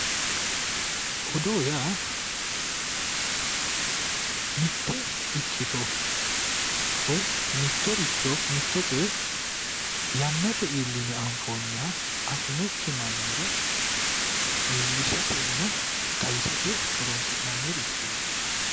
Odoo yaa mitte ikkito woy mittoricho mitto coye yannate iilline anfoonniha afi'nokki mannira illishatenna xawisate horonsi'nannirichhoti.